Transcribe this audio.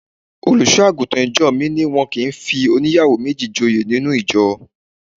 Olùṣọ́-àgùntàn ìjọ mi ní wọn kì í fi óníyàwó méjì joyè nínú ìjọ.